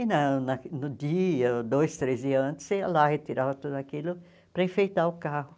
E na na no dia, dois, três dias antes, você ia lá e retirava tudo aquilo para enfeitar o carro.